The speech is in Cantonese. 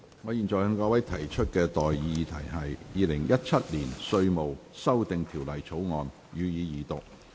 我現在向各位提出的待議議題是：《2017年稅務條例草案》，予以二讀。